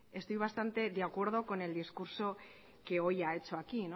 estoy bastante de acuerdo con el discurso que hoy ha hecho aquí